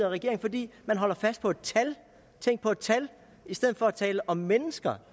regeringen fordi man holder fast i et tal tænk på et tal i stedet for at tale om mennesker